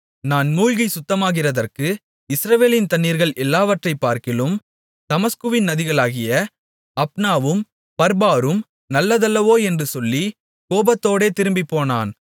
நான் மூழ்கிச் சுத்தமாகிறதற்கு இஸ்ரவேலின் தண்ணீர்கள் எல்லாவற்றைப்பார்க்கிலும் தமஸ்குவின் நதிகளாகிய ஆப்னாவும் பர்பாரும் நல்லதல்லவோ என்று சொல்லி கோபத்தோடே திரும்பிப்போனான்